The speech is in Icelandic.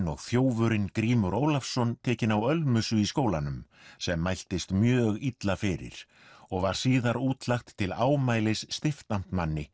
og þjófurinn Grímur Ólafsson tekinn á ölmusu í skólanum sem mæltist mjög illa fyrir og var síðar útlagt til ámælis stiftamtmanni